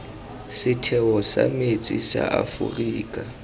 setheo sa metsi sa aforika